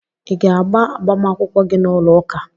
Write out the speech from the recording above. Ị ga-agba agbamakwụkwọ gị n'ụlọụka?